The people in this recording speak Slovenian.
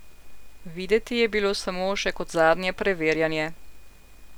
Videti je bilo samo še kot zadnje preverjanje.